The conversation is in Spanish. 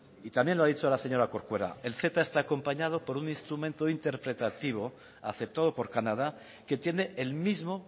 y también lo ha dicho la señora corcuera el ceta está acompañado por un instrumento interpretativo aceptado por canadá que tiene el mismo